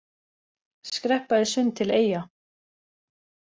Skreppa í sund til Eyja